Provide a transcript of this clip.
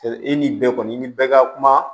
I ni bɛɛ kɔni i ni bɛɛ ka kuma